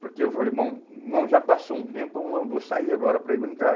Porque eu falei, bom, bom, já passou um tempo, eu vou, vou sair agora para ir brincar.